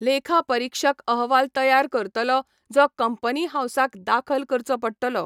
लेखापरीक्षक अहवाल तयार करतलो, जो कंपनी हाऊसाक दाखल करचो पडटलो.